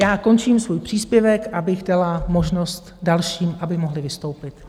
Já končím svůj příspěvek, abych dala možnost dalším, aby mohli vystoupit.